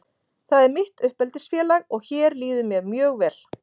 Það er mitt uppeldisfélag og hér líður mér mjög vel.